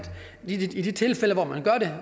i de tilfælde hvor man gør det